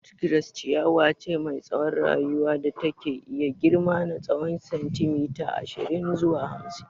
Nut grass ciyawa ce mai tsawon rayuwa da take iya girma na tsowon sentimeta ashirin zuwa hamsin.